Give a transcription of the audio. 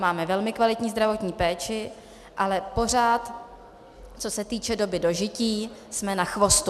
Máme velmi kvalitní zdravotní péči, ale pořád, co se týče doby dožití, jsme na chvostu.